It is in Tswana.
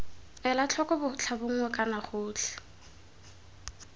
ela tlhoko botlhabongwe kana gotlhe